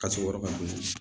Ka sɔrɔ yɔrɔ ka bon